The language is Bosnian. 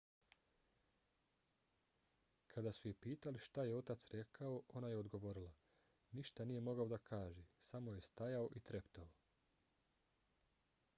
kada su je pitali šta je otac rekao ona je odgovorila: ništa nije mogao da kaže - samo je stajao i treptao.